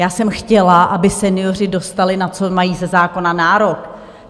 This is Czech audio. Já jsem chtěla, aby senioři dostali, na co mají ze zákona nárok.